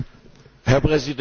Herr Präsident!